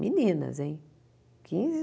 Meninas, hein? Quinze